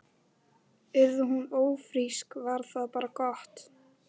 Yrði hún ófrísk var það bara gott.